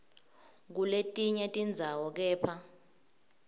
kuletinye tindzawo kepha